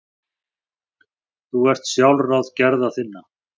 Þú ert sjálfráð gerða þinna.